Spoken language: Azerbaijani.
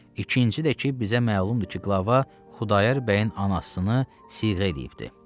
İkinci də ki, bizə məlumdur ki, qlava Xudayar bəyin anasını siğə eləyibdir.